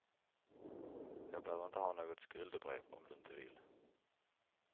Jag behöver inte ha något skuldebrev om du inte vill.